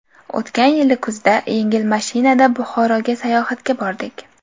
O‘tgan yil kuzda yengil mashinada Buxoroga sayohatga bordik.